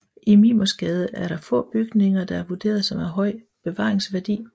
I Mimersgade er der få bygninger der er vurderet som af høj bevaringsværdi